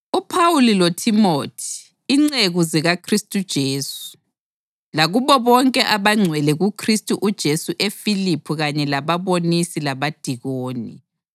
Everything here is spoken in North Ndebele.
UPhawuli loThimothi, inceku zikaKhristu uJesu, Lakubo bonke abangcwele kuKhristu uJesu eFiliphi kanye lababonisi labadikoni: